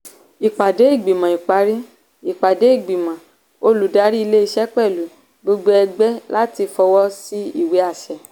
ìpàdé ìgbìmọ̀ ìparí - ìpàdé ìgbìmọ̀ oludárí ilé-iṣẹ́ pẹ̀lú gbogbo ẹgbẹ́ láti fọwọ́ sí ìwé àṣẹ.